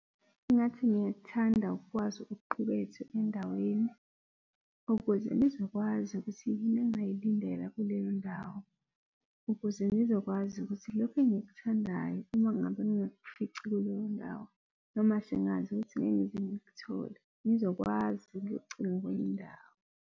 Ngathi ngiyakuthanda ukwazi okuqukethwe endaweni ukuze ngizokwazi ukuthi yini engingayilindela kuleyo ndawo. Ukuze ngizokwazi ukuthi lokhu engikuthandayo, uma ngabe ngingakufici kuleyo ndawo, noma sengazi ukuthi ngeke ngize ngikuthole, ngizokwazi ukuyocinga kwenye indawo.